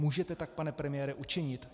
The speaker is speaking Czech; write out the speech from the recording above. Můžete tak, pane premiére, učinit?